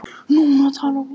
Núna talar hún.